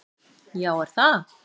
Já er það!